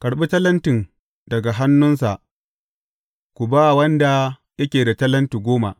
Karɓi talentin daga hannunsa ku ba wanda yake da talenti goma.